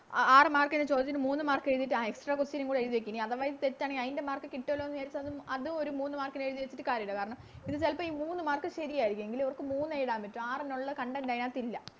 ആ ആറ് Mark ന് ചോദിച്ചത് മൂന്ന് Mark ന് എഴുതിട്ട് ആ Extra question നും കൂടി എഴുതി വെക്കാം ഇനി അഥവാ ഇത് തെറ്റാണെങ്കിൽ അയിൻറെ Mark കിട്ടുവല്ലോ ന്ന് വിചാരിച്ച് അതും ഒര് മൂന്ന് Mark ന് എഴുതി വെച്ചിട്ട് കാര്യമില്ല കാരണം ഇത് ചെലപ്പോ ഈ മൂന്ന് Mark ശെരിയാരിക്കും എങ്കില് ഇവർക്ക് മൂന്ന് എഴുതാൻ പറ്റു ആറെണ്ണോള്ളേ Content അതിനകത്ത് ഇല്ല